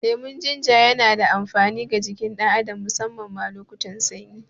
Lemon Jinja yana da amfani ga jikin ɗan adam, musamman ma lokutan sanyi.